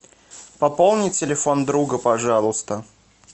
пополни телефон друга пожалуйста